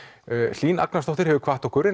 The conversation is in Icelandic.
Hlín Agnarsdóttir hefur kvatt okkur